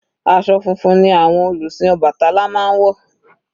Aṣọ funfun ni àwọn olùsìn obatala máa ń wọ̀.